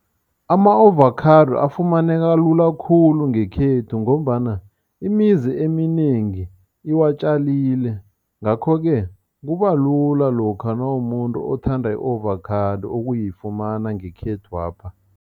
Ama-ovakhado afumaneka lula khulu ngekhethu ngombana imizi eminengi iwatjalile ngakho-ke kubalula lokha nawumumuntu othanda i-ovakhado ukuyifumana ngekhethwapha.